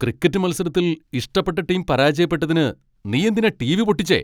Cricket മത്സരത്തിൽ ഇഷ്ടപ്പെട്ട team പരാജയപ്പെട്ടതിന് നീയെന്തിനാ ടിവി പൊട്ടിച്ചേ?